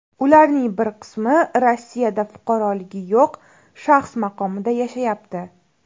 Ularning bir qismi Rossiyada fuqaroligi yo‘q shaxs maqomida yashayapti.